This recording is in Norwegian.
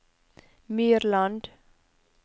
Myrland